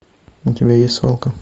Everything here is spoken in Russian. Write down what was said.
у тебя есть свалка